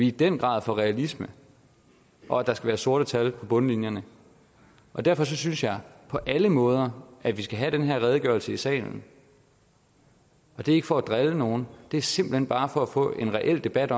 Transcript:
i den grad for realisme og at der skal være sorte tal på bundlinjen og derfor synes jeg på alle måder at vi skal have den her redegørelse i salen og det er ikke for at drille nogen det er simpelt hen bare for at få en reel debat